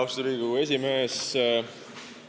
Austatud Riigikogu esimees!